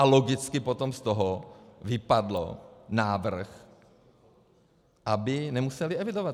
A logicky potom z toho vypadl návrh, aby nemuseli evidovat.